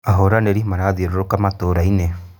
Ahũranĩri marathiũrũrũka matũra-inĩ